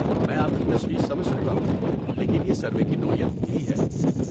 میں آپ کی تشویش سمجھ سکتا ہوں، لیکن یہ سروے کی نوعیت یہی ہے۔